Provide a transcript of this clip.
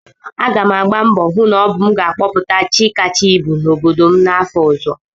Aga m agba mbọ hụ na ọ bụ m ga-akọpụta ji kacha ibu n'obodo m afọ ọzọ